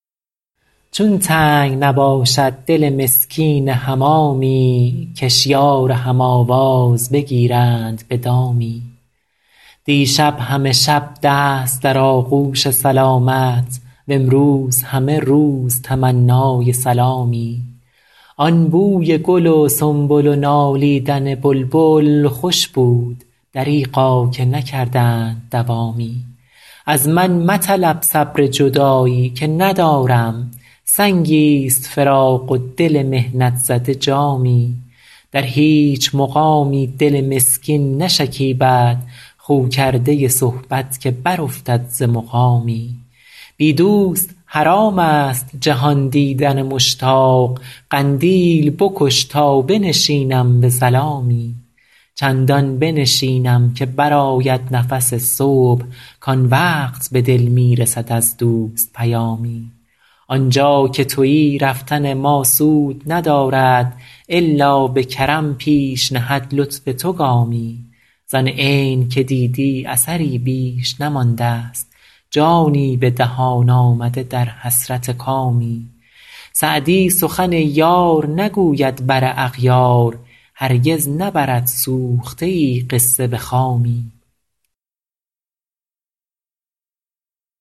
چون تنگ نباشد دل مسکین حمامی کش یار هم آواز بگیرند به دامی دیشب همه شب دست در آغوش سلامت وامروز همه روز تمنای سلامی آن بوی گل و سنبل و نالیدن بلبل خوش بود دریغا که نکردند دوامی از من مطلب صبر جدایی که ندارم سنگی ست فراق و دل محنت زده جامی در هیچ مقامی دل مسکین نشکیبد خو کرده صحبت که برافتد ز مقامی بی دوست حرام است جهان دیدن مشتاق قندیل بکش تا بنشینم به ظلامی چندان بنشینم که برآید نفس صبح کآن وقت به دل می رسد از دوست پیامی آن جا که تویی رفتن ما سود ندارد الا به کرم پیش نهد لطف تو گامی زآن عین که دیدی اثری بیش نمانده ست جانی به دهان آمده در حسرت کامی سعدی سخن یار نگوید بر اغیار هرگز نبرد سوخته ای قصه به خامی